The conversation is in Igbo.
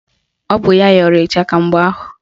Ọ bụ ya yọrọ ịchaka mgbe ahụ